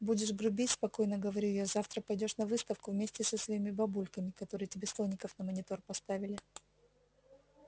будешь грубить спокойно говорю я завтра пойдёшь на выставку вместе со своими бабульками которые тебе слоников на монитор поставили